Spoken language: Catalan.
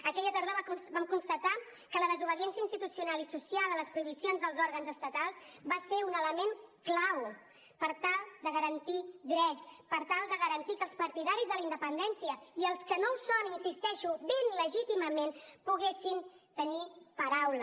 aquella tardor vam constatar que la desobediència institucional i social a les prohibicions dels òrgans estatals va ser un element clau per tal de garantir drets per tal de garantir que els partidaris de la independència i els que no ho són hi insisteixo ben legítimament poguessin tenir paraula